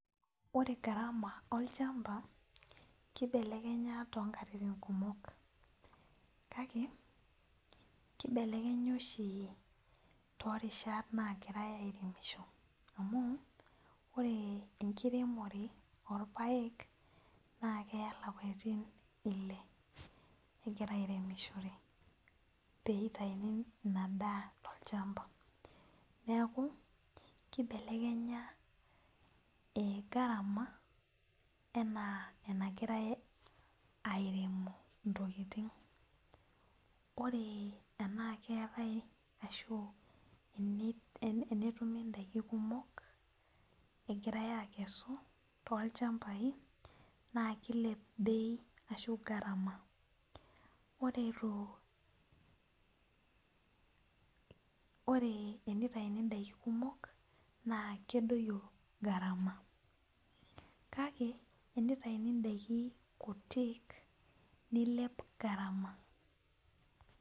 Ore garama olchamba kibelekenya tonkatitik kumok, kake kibelekenya oshi torishat nagirai aremisho amu ore enkiremore orpaek na keya lapatin ile egirai aremisho peitani tolchamba neaku kibelekenya garama ana enagirai airemu ntokitin. ore enaa keetae ashu tenetumi ndakin kumok egirai akesu tolchambai na kilep bei ashu garama ore enitauni ndakini kumok na kedoyio garama kake tenitauni ndakiin kutik nilep garama.